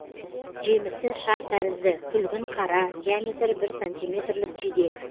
жемісі шар тәрізді күлгін қара диаметрі бір сантиметрлік жидек